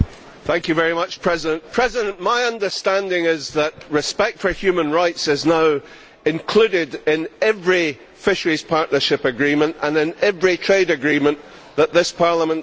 Mr President, my understanding is that respect for human rights is now included in every Fisheries Partnership Agreement and in every trade agreement that this Parliament creates.